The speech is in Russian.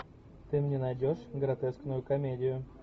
ты мне найдешь гротескную комедию